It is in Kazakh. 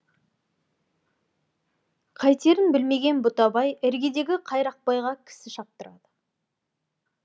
қайтерін білмеген бұтабай іргедегі қайрақбайға кісі шаптырады